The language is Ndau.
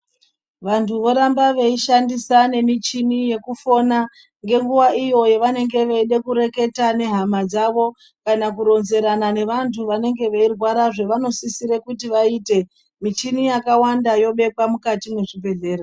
Vantu voramba veishandisa nemichini yekufona ngenguwa iyo yavanenge veida kureketa nehama dzawo kana kuronzerana nevantu vanenge veirwara zvavanosisira kuti vaiti michini yakawanda yobekwa muzvibhedhlera.